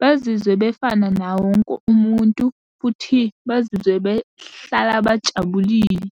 Bezizwe befana nawowonke umuntu, futhi bazizwe behlala bajabulile.